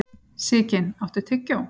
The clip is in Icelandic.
Sigyn, áttu tyggjó?